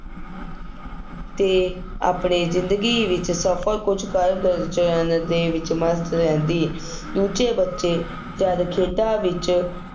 ਅਤੇ ਆਪਣੇ ਜ਼ਿੰਦਗੀ ਵਿੱਚ ਸਫਲ ਕੁੱਝ ਕਰ ਦੇ ਵਿੱਚ ਮਸਤ ਰਹਿੰਦੀ, ਦੂਜੇ ਬੱੱਚੇ ਜਦ ਖੇਡਾਂ ਵਿੱਚ